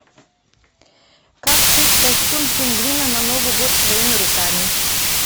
как сшить костюм пингвина на новый год своими руками